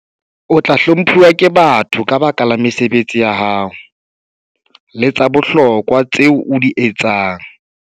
O tla hlomphuwa ke batho ka baka la mesebetsi ya hao le tsa bohlokwa tseo o di etsang.